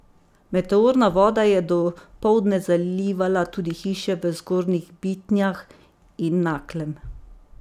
Meteorna voda je dopoldne zalivala tudi hiše v Zgornjih Bitnjah in Naklem.